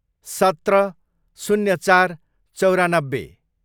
सत्र, शून्य चार, चौरानब्बे